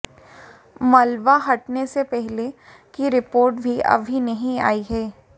मलबा हटने से पहले की रिपोर्ट भी अभी नहीं आई है